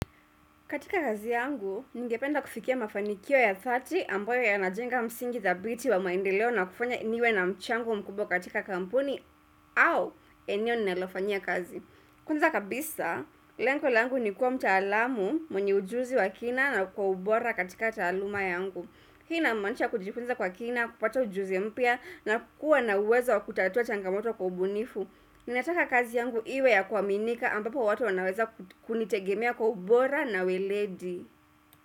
Katika kazi yangu, ningependa kufikia mafanikio ya dhati ambayo yanajenga msingi dhabiti wa maendeleo na kufanya niwe na mchango mkubwa katika kampuni au eneo ninalofanyia kazi. Kwanza kabisa, lengo langu ni kuwa mtaalamu mwenye ujuzi wa kina na kwa ubora katika taaluma yangu. Hii inamanisha kujifunza kwa kina, kupata ujuzi mpya na kukua na uwezo wa kutatua changamoto kwa ubunifu. Ninataka kazi yangu iwe ya kuaminika ambapo watu wanaweza kunitegemea kwa ubora na weledi.